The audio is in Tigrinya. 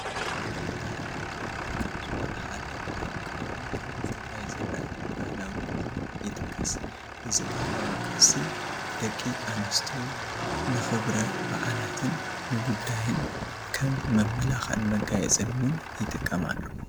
ባህላዊ ጥበባት ካብ ዝኾኑ ሓደ ኣብ ከባቢ ክልል ትግራይ ዝረአ ባህላዊ ቁኖ ይጥቀስ፡፡ እዚ ባህላዊ ቅርሲ ደቂ ኣንስትዮ ንክብረ ባዓላትን ንጉዳይን ከም መመላኽዕን መጋየፅን ውን ይጥቀማሉ፡፡